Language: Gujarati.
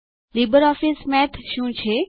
લીબરઓફીસ મેથ શું છે